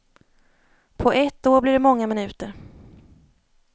På ett år blir det många minuter.